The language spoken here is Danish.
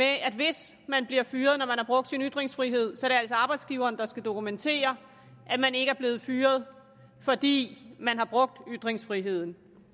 at hvis man bliver fyret når man har brugt sin ytringsfrihed så er det altså arbejdsgiveren der skal dokumentere at man ikke er blevet fyret fordi man har brugt ytringsfriheden